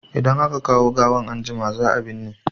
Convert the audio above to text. Idan aka kawo gawan anjima, za a binne.